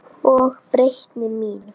Og breytni mín.